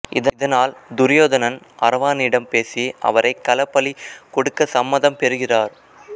இதனால் துரியோதனன் அரவானிடம் பேசி அவரைக் களப்பலி கொடுக்கச் சம்மதம் பெறுகிறார்